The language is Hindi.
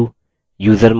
usermod